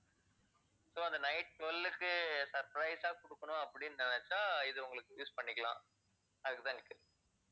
so அந்த night twelve உக்கு surprise ஆ கொடுக்கணும் அப்படின்னு நினைச்சா இது உங்களுக்கு use பண்ணிக்கலாம் அதுக்குத்தான் கேட்கிறேன்.